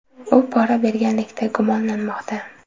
U pora berganlikda gumonlanmoqda.